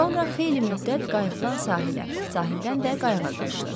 Sonra xeyli müddət qayıqdan sahilə, sahildən də qayıqa qaçdı.